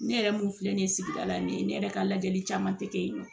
Ne yɛrɛ mun filɛ nin ye sigida la ni ye ne yɛrɛ ka lajɛli caman tɛ kɛ yen nɔ